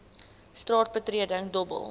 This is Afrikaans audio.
straat betreding dobbel